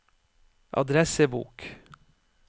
adressebok